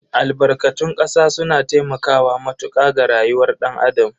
Albarkatun kasa suna taimakawa matuka ga rayuwar dan Adam.